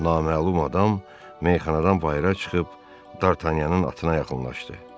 Naməlum adam meyxanadan bayıra çıxıb D'Artagnanın atına yaxınlaşdı.